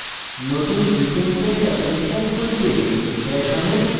নতুন gchempaint application খুলতে